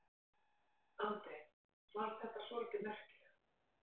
Andri: Og fannst þetta svolítið merkilegt?